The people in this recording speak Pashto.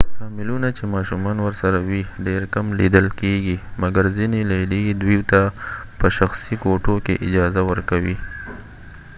فامیلونه چې ماشومان ورسره وي ډیر کم لیدل کېږی، مګر ځینی لیلیې دوي ته په شخصی کوټو کې اجازه ورکوي